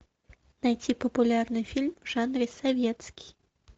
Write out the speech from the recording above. найти популярный фильм в жанре советский